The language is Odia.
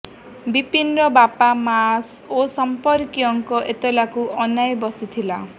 ବିନିର ବାପା ମା ଓ ସମ୍ପର୍କୀୟଙ୍କ ଏତଲାକୁ ଅନାଇ ବସିଥିଲା